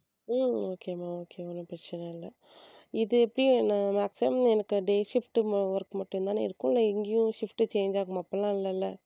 உம் okay மா okay ஒண்ணும் பிரச்சனை இல்ல இது எப்படி நான் maximum எனக்கு day shift work மட்டும் தானே இருக்கும் இல்லை இங்கேயும் shift change ஆகுமா அப்படில்லாம் இல்லல்ல.